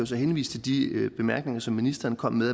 så henvise til de bemærkninger som ministeren kom med